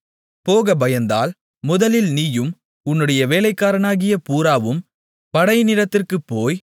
போகப் பயந்தால் முதலில் நீயும் உன்னுடைய வேலைக்காரனாகிய பூராவும் படையினிடத்திற்குப் போய்